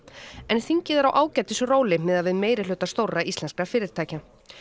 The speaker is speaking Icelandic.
en þingið er á miðað við meirihluta stórra íslenskra fyrirtækja